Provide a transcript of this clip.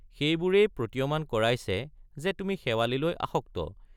সেইবোৰেই প্ৰতীয়মান কৰাইছে যে তুমি শেৱালিলৈ আসক্ত।